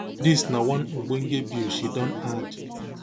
dis na one ogbonge bill she don add